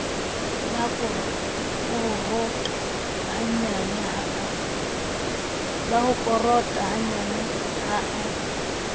la korota hannyane ha a